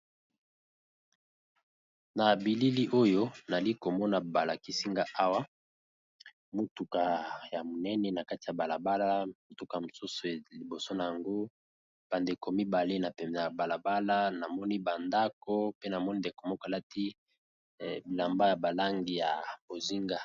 Na bilili oyo nali komona balakisinga awa motuka ya monene na kati ya balabala motuka mosusu e liboso na yango bandeko mibale na peme ya balabala namoni bandako pe namoni ndeko moklati bilamba ya balangi ya bozinga.